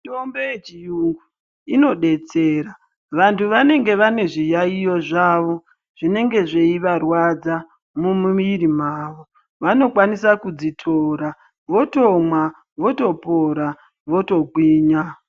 Mitombo yechiyungu inodetsera. Vantu vanenge vane zviyaiyo zvavo , zvinenge zveivarwadza mumwiri dzavo vanokwanisa kudzitora, votomwa, votopora votogwinya.